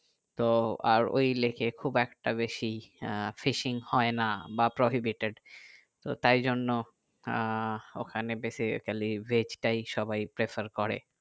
তো আর ওই lake এ খুব একটা বেশি আহ fishing হয় না বা prohibited তো তাই জন্য আহ ওখানে basically veg টাই সবাই prefer করে